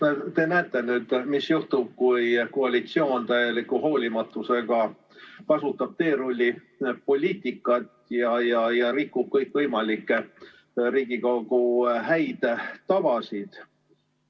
No te näete nüüd, mis juhtub, kui koalitsioon täieliku hoolimatusega kasutab teerullipoliitikat ja rikub kõikvõimalikke Riigikogu häid tavasid.